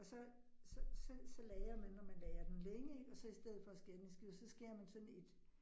Og så så så så lagrer man, når man lagrer den længe ik og så i stedet for at skære den i skiver, så skærer man sådan et